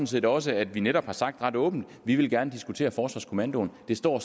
set også at vi netop har sagt ret åbent vi vil gerne diskutere forsvarskommandoen det står